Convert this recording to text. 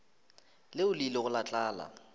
leo le ilego la tla